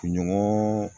Ɲɔgɔn